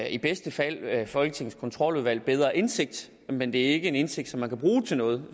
i bedste fald folketingets kontroludvalg en bedre indsigt men det er ikke en indsigt som man kan bruge til noget